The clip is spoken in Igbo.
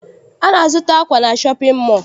Anyị zụtara akwa na shọpịn mọọ.